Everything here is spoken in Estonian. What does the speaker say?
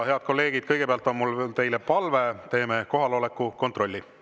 Head kolleegid, kõigepealt on mul teile palve: teeme kohaloleku kontrolli.